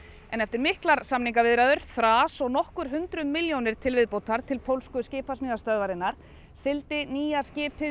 en eftir miklar samningaviðræður þras og nokkur hundruð milljónir til viðbótar til pólsku skipasmíðastöðvarinnar sigldi nýja skipið